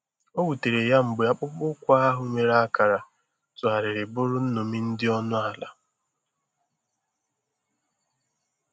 O wutere ya mgbe akpụkpọ ụkwụ ndị ahụ nwere akara tụgharịrị bụrụ nnomi dị ọnụ ala.